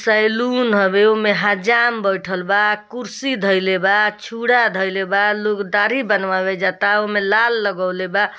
Saloon हवे उमे हजाम बैठलवा कुर्सी धइले बा चुरा धइले बा लोग दाढ़ी बनवावे जाता उमे लाल लगौले बा।